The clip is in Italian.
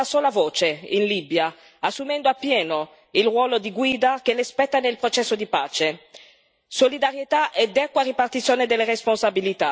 La sfida oggi è far sì che l'Unione parli con una sola voce in Libia, assumendo appieno il ruolo di guida che le spetta nel processo di pace.